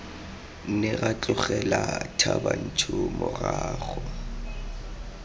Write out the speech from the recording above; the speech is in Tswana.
ne ra tlogela thabantsho morago